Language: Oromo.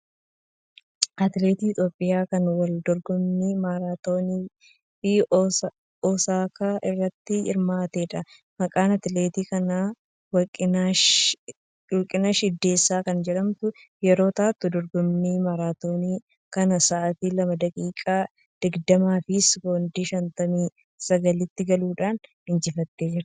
Atileetii Itoophiyaa kan wal dorgommii maaraatoonii Osaakaa irratti hirmaattedha. Maqaan atileetii kanaa Warqinash Iddeesaa kan jedhamtu yeroo taatu dorgommii maraatoonii kana sa'atii lama, daqiiqaa digdamaa fi sekoondii shantamii sagalitti galuudhaan injifattee jirti.